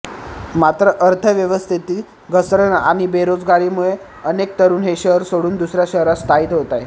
मात्र अर्थव्यवस्थेतील घसरण आणि बेरोजगारीमुळे अनेक तरुण हे शहर सोडून दुसऱ्या शहरात स्थायिक होतायत